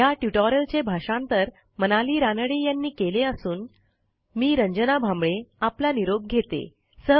ह्या ट्युटोरियलचे भाषांतर मनाली रानडे यांनी केले असून मी रंजना भांबळे आपला निरोप घेते